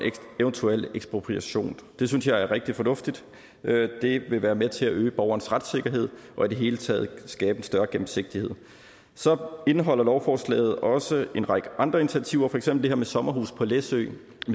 eventuel ekspropriation det synes jeg er rigtig fornuftigt det vil være med til at øge borgernes retssikkerhed og i det hele taget skabe en større gennemsigtighed så indeholder lovforslaget også en række andre initiativer for eksempel her med sommerhuse på læsø